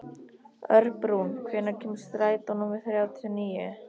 Örbrún, hvenær kemur strætó númer þrjátíu og níu?